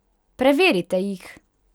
Preverite jih!